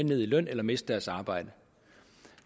ned i løn eller miste deres arbejde